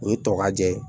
U ye tɔgɔ jɛ ye